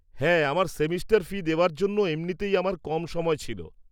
হ্যাঁ, আমার semester fee দেওয়ার জন্য এমনিতেই আমার কম সময় ছিল।